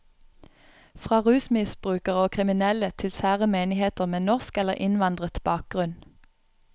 Fra rusmisbrukere og kriminelle til sære menigheter med norsk eller innvandret bakgrunn.